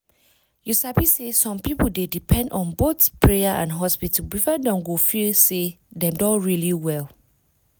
you sabi say some people dey depend on both prayer and hospital before dem go feel say dem don really well.